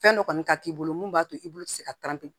Fɛn dɔ kɔni ka k'i bolo mun b'a to i bolo tɛ se ka